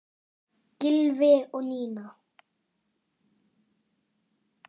Gylfi og Nína.